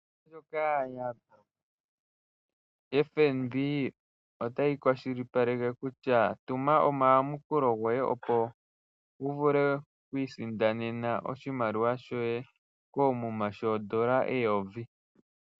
Ombaanga ndjoka ya FNB otayi kwashilipaleke kutya, tuma omayamukulo goye opo wu vule oku isindanena oshimaliwa shoye koomuma shoodola eyovi.